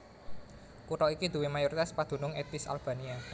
Kutha iki duwé mayoritas padunung ètnis Albania